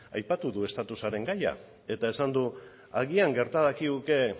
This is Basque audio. aipatu du estatusaren gaia eta esan du agian gerta dakiguke